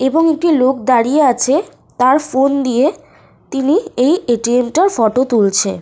এবং একটি লোক দাঁড়িয়ে আছে। তার ফোন দিয়ে তিনি এই এ.টি.এম. -টার ফটো তুলছে।